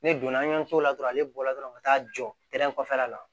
Ne donna an y'an t'o la dɔrɔn ale bɔla dɔrɔn ka taa jɔ kɔfɛla la